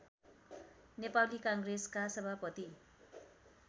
नेपाली काङ्ग्रेसका सभापति